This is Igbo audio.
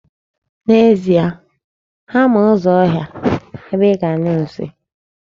N'ezie, ha ma ụzọ ọhịa ebe ị ga-anyụ nsi.